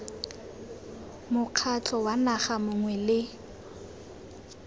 mokgatlho wa naga mongwe le